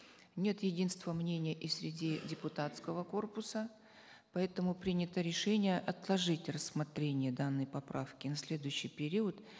нет единства мнения и среди депутатского корпуса поэтому принято решение отложить рассмотрение данной поправки на следующий период